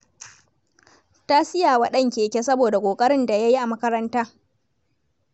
Ta siya wa ɗan keke saboda ƙoƙarin da ya yi a makaranta.